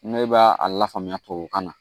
Ne b'a a lafaamuya tubabu kan na